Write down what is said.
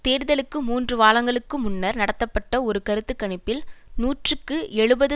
தேர்தலுக்கு மூன்று வாரங்களுக்கு முன்னர் நடத்தப்பட்ட ஒரு கருத்து கணிப்பில் நூற்றுக்கு எழுபது